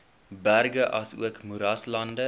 berge asook moeraslande